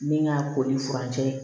Min ka ko ye furancɛ ye